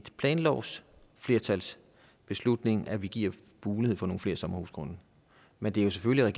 planlovsflertalsbeslutning at vi giver mulighed for nogle flere sommerhusgrunde men det er selvfølgelig